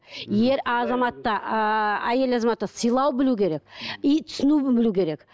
ер азамат та ааа әйел азамат та сыйлау білу керек и түсіну білу керек